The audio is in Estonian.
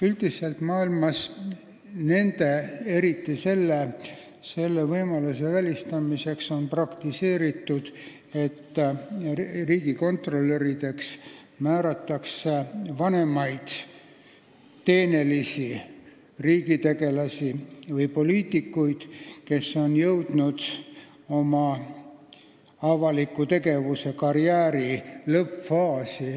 Üldiselt praktiseeritakse maailmas selle võimaluse välistamiseks seda, et riigikontrolörideks määratakse vanemaid teenekaid riigitegelasi või poliitikuid, kes on jõudnud oma avaliku tegevuse karjääri lõppfaasi.